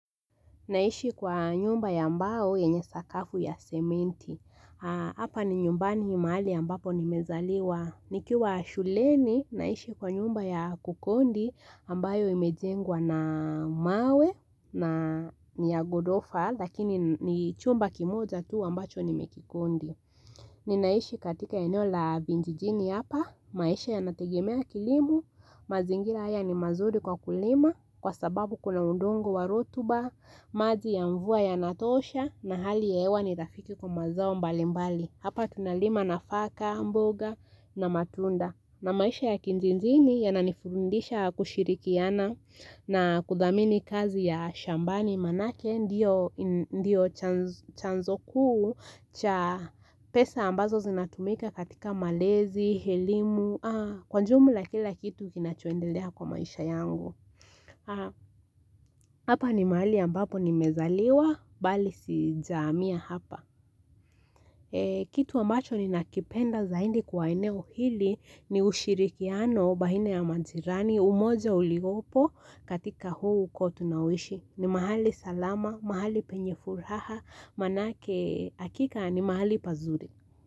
Naishi kwa nyumba ya mbao yenye sakafu ya sementi. Aa hapa ni nyumbani mahali ambapo nimezaliwa. Nikiwa shuleni naishi kwa nyumba ya kukondi ambayo imejengwa na mawe na niyagodofa lakini ni chumba kimoja tu ambacho nimekikondi. Ninaishi katika eneo la vinjijini hapa. Maisha yanategemea kilimu. Mazingira haya ni mazuri kwa kulima kwa sababu kuna udongo wa rotuba. Maji ya mvua yanatosha na hali ya hewa ni rafiki kwa mazao mbali mbali. Hapa tunalima nafaka, mboga na matunda. Na maisha ya kinjinjini yananifundisha kushirikiana na kudhamini kazi ya shambani manake ndiyo en ndiyo chanz chanzo kuu cha pesa ambazo zinatumika katika malezi, helimu, aa kwa njumula kila kitu kinachoendelea kwa maisha yangu Hapa ni mahali ambapo nimezaliwa, bali si jaamia hapa. Ee Kitu ambacho ninakipenda zaindi kwa eneo hili ni ushirikiano bahina ya majirani, umoja uliopo katika huu ukoo tunaoishi. Ni mahali salama, mahali penye furaha, manake akika ni mahali pazuri.